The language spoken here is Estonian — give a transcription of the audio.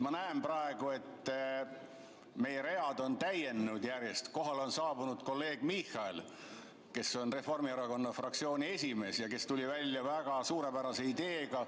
Ma näen praegu, et meie read on järjest täienenud, kohale on saabunud kolleeg Michal, kes on Reformierakonna fraktsiooni esimees ja kes tuli välja väga suurepärase ideega.